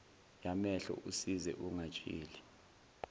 yamehlo usize ungatsheli